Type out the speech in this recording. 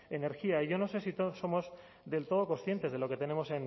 energía yo no sé si todos somos del todo conscientes de lo que tenemos